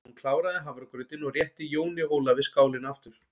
Hún kláraði hafragrautinn og rétti Jóni Ólafi skálina aftur.